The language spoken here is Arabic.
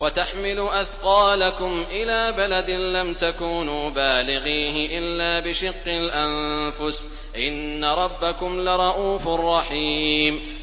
وَتَحْمِلُ أَثْقَالَكُمْ إِلَىٰ بَلَدٍ لَّمْ تَكُونُوا بَالِغِيهِ إِلَّا بِشِقِّ الْأَنفُسِ ۚ إِنَّ رَبَّكُمْ لَرَءُوفٌ رَّحِيمٌ